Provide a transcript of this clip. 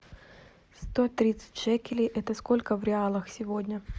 сто тридцать шекелей это сколько в реалах сегодня